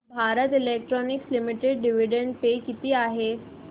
Bharat Electronics Limited dividend पे किती आहे